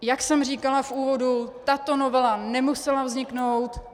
Jak jsem říkala v úvodu, tato novela nemusela vzniknout.